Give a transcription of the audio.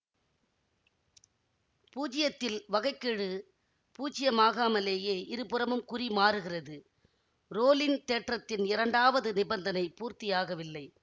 பூஜ்யத்தில் வகை கெழு பூச்சியமாகாமலேயே இருபுறமும் குறி மாறுகிறது ரோலின் தேற்றத்தின் இரண்டாவது நிபந்தனை பூர்த்தியாகவில்லை